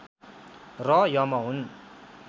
र यम हुन्